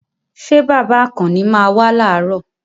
Ṣé bàbá Àkànni máa wá làárọ̀?